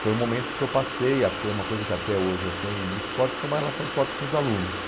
Foi o momento que eu passei a ter uma coisa que até hoje eu tenho muito forte, que é uma relação forte com os alunos.